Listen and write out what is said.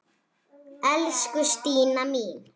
Elsku Stína mín.